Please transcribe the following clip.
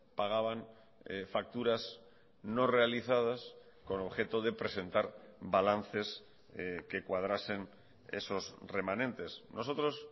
pagaban facturas no realizadas con objeto de presentar balances que cuadrasen esos remanentes nosotros